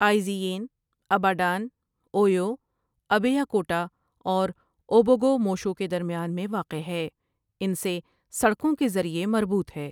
آئزی یِن، Ibadan, Oyo, ابےیاکوٹااور Ogbomosho کے درمیان میں واقع ہے ان سے سڑکوں کے ذریعے مربوط ہے ۔